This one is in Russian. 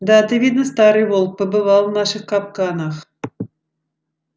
да ты видно старый волк побывал в наших капканах